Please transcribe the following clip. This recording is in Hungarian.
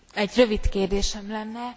Egy rövid kérdésem lenne.